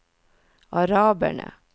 araberne